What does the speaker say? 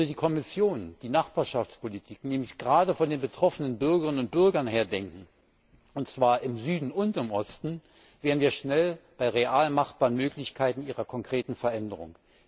Würde die Kommission die Nachbarschaftspolitik nämlich gerade von den betroffenen Bürgerinnen und Bürgern her denken, und zwar im Süden und im Osten, wären wir schnell bei real machbaren Möglichkeiten ihrer konkreten Veränderung.